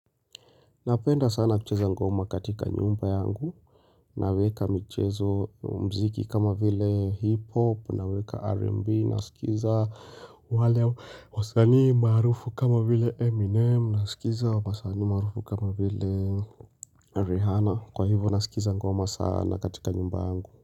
Napenda sana kucheza ngoma katika nyumba yangu, naweka mchezo mziki kama vile hip-hop, naweka R&B, nasikiza wale wasani maarufu kama vile Eminem, nasikiza w sani marufu kama vile Rihanna, kwa hivo nasikiza ngoma sana katika nyumba yangu.